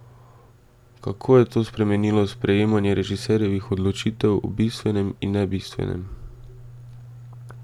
Kako je to spremenilo sprejemanje režiserjevih odločitev o bistvenem in nebistvenem?